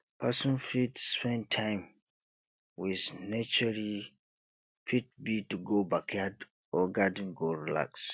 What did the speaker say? person fit spend time spend time with naturee fit be to go backyard or garden go relax